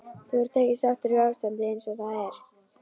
Þú ert ekki sáttur við ástandið eins og það er?